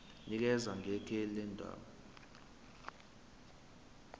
nikeza ngekheli lendawo